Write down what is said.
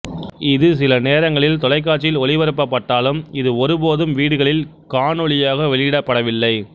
இது சில நேரங்களில் தொலைக்காட்சியில் ஒளிபரப்பப்பட்டாலும் இது ஒருபோதும் வீடுகளில் காணொளியாக வெளியிடப்படவில்லை